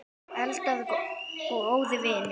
Eldar og óðir vindar